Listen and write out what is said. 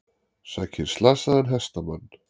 Sækir slasaðan hestamann